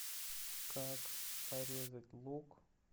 как порезать лук